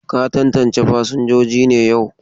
Ka tantance fasinjojin ne yau?